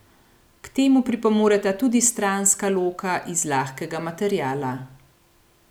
K temu pripomoreta tudi stranska loka iz lahkega materiala.